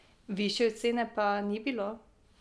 Višje cene pa ni bilo.